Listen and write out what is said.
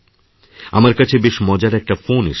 আমার কাছে বেশ মজার একটা ফোন এসেছে